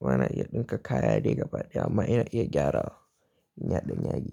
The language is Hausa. Ba na iya ɗinka kaya dai gaba ɗaya amma ina iya gyarawa. Ina ɗan yagi.